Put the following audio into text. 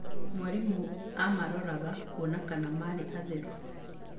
Mwarimũ aamaroraga kuona kana marĩ atheru.